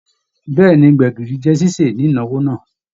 Bẹẹni, gbẹ̀gìrì jẹ ṣiṣe ni ìnáwó náà.